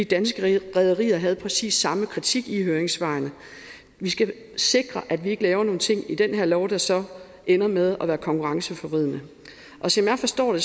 danske rederier havde præcis samme kritik i høringssvaret vi skal sikre at vi ikke laver nogle ting i den her lov der så ender med at være konkurrenceforvridende og som jeg forstår